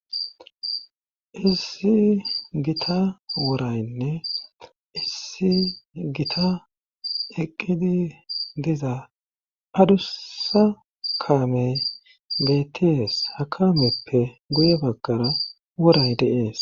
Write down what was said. Issi gita woraynne issi gita eqqidi diza adussa kaame betties ha kameppe guye baggara woray deees.